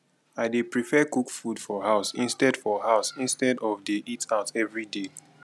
i dey prefer cook food for house instead for house instead of dey eat out every day